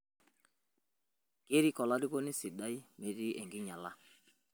Kerik olarikoni sidai metii enking'iala